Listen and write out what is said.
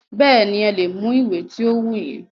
Bẹ́ẹ̀nì, ẹ lè mú ìwé ti o wù yín.